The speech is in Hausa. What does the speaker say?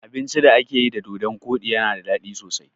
Abincin da akayi da dodon koɗi yana daɗi sosai